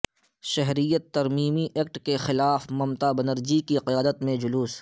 شہریت ترمیمی ایکٹ کے خلاف ممتا بنرجی کی قیادت میں جلوس